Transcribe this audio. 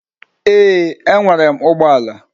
Ee, enwere m ụgbọ ala.